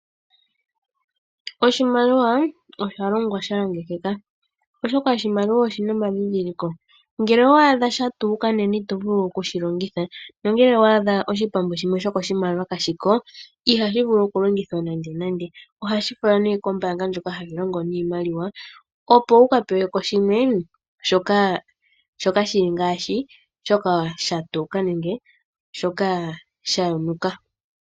Oshimaliwa osha longwa sha longekeka, oshoka oshimaliwa oshi na omadhindhiliko. Ngele owa adha sha tuuka nena ito vulu oku shi longitha nongele wa adha oshipambu shimwe sho koshimaliwa kashi ko ihashi vulu okulongithwa nandenande. Ohashi falwa nduno kombaanga ndjoka hayi longo niimaliwa, opo wu ka pewe ko shimwe sha fa shoka sha tuuka nenge shoka sha yonuka.